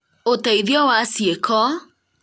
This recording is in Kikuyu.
ũteithio wa cĩĩko